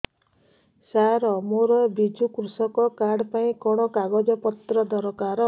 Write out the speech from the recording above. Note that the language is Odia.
ସାର ମୋର ବିଜୁ କୃଷକ କାର୍ଡ ପାଇଁ କଣ କାଗଜ ପତ୍ର ଦରକାର